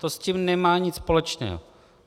To s tím nemá nic společného.